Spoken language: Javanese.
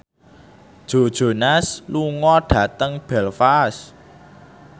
Joe Jonas lunga dhateng Belfast